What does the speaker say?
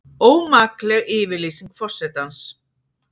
Ómakleg yfirlýsing forsetans